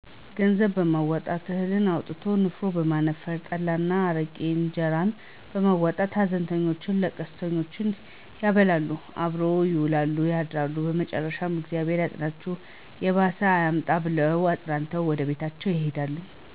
ገንዘብ በማዋጣት፣ እህል አዋቶ ንፍሮ በማነፈር፣ ጠላ እና አረቂ፣ እነጀራ በማዋጣት ሀዘንተኞቹንና ልቅሶኘውን ያበላሉ፣ አብሮ ይውላሉ ያድራሉ መጨረሻም እግዚአብሔር ያጽናቹ የባሰ አያምጣ ብለው አጽናንተው ወደየቤታቸው ይሄዳሉ።